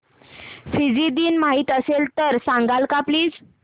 Fiji दिन माहीत असेल तर सांगाल का प्लीज